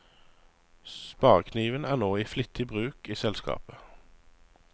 Sparekniven er nå i flittig bruk i selskapet.